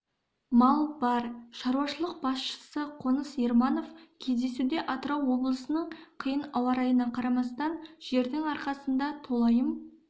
мал бар шаруашылық басшысы қоныс ерманов кездесуде атырау облысының қиын ауа-райына қарамастан жердің арқасында толайым